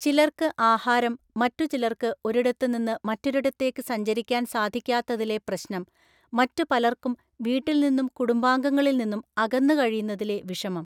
ചിലര്‍ക്ക് ആഹാരം, മറ്റു ചിലര്‍ക്ക് ഒരിടത്ത് നിന്ന് മറ്റൊരിടത്തേക്കു സഞ്ചരിക്കാന്‍ സാധിക്കാത്തതിലെ പ്രശ്നം, മറ്റു പലർക്കും വീട്ടില്‍ നിന്നും കുടുംബാംഗങ്ങളില്‍ നിന്നും അകന്നു കഴിയുന്നതിലെ വിഷമം.